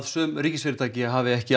sum ríkisfyrirtæki hafi ekki